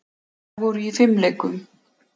Þær voru í fimleikum.